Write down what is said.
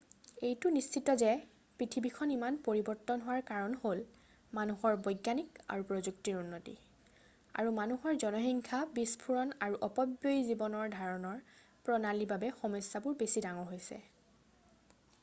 এইটো নিশ্চিত যে পৃথিৱীখন ইমান পৰিৱৰ্তন হোৱাৰ কাৰণ হ'ল মানুহৰ বৈজ্ঞানিক আৰু প্ৰযুক্তিৰ উন্নতি আৰু মানুহৰ জনসংখ্যা বিস্ফোৰণ আৰু অপব্যয়ী জীৱন ধাৰণৰ প্ৰণালীৰ বাবে সমস্যাবোৰ বেছি ডাঙৰ হৈছে